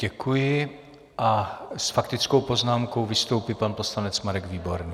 Děkuji a s faktickou poznámkou vystoupí pan poslanec Marek Výborný.